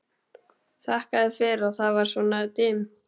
Þakkaði fyrir að það var svona dimmt.